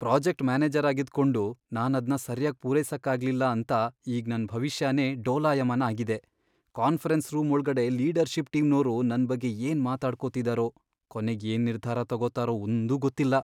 Project ಮ್ಯಾನೇಜರಾಗಿದ್ಕೊಂಡು ನಾನದ್ನ ಸರ್ಯಾಗ್ ಪೂರೈಸಕ್ಕಾಗ್ಲಿಲ್ಲ ಅಂತ ಈಗ್ ನನ್ ಭವಿಷ್ಯನೇ ಡೋಲಾಯಮಾನ ಆಗಿದೆ. ಕಾನ್ಫರೆನ್ಸ್ ರೂಮ್ ಒಳ್ಗಡೆ ಲೀಡರ್ಷಿಪ್ ಟೀಮ್ನೋರು ನನ್ ಬಗ್ಗೆ ಏನ್ ಮಾತಾಡ್ಕೊತಿದಾರೋ, ಕೊನೆಗ್ ಏನ್ ನಿರ್ಧಾರ ತಗೋತಾರೋ ಒಂದೂ ಗೊತ್ತಿಲ್ಲ.